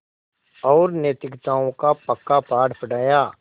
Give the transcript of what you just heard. और नैतिकताओं का पक्का पाठ पढ़ाया